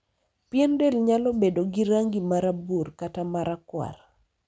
pien del nyalo bedo gi rangi ma rabuor kata ma rakwar